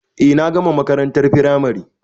Eh na gama makarantar firamare